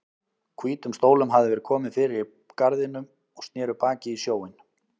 Hvítum stólum hafði verið komið fyrir í garðinum og sneru baki í sjóinn.